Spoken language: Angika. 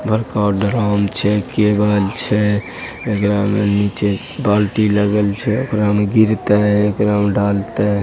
बड़का ड्राम छैकेवल छै एकड़ा में नीचे बाल्टी लगल छै ओकरा मे गिरते एकड़ा मे डालते --